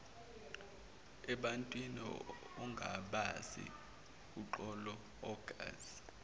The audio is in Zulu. ebantwin ongabazi uxoloangazi